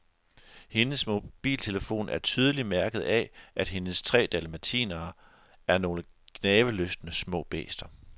Hendes mobiltelefon er tydeligt mærket af, at hendes tre dalmatinere er nogle gnavelystne små bæster.